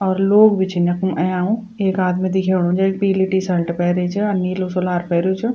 और लोग भी छीन यख्मु अयांउ एक आदमी दिखेणु जेक पीली टी शर्ट पेरीं च और नीलू सुलार पेर्युं च।